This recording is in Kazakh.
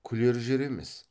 күлер жер емес